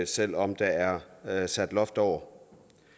selv om der er er sat loft over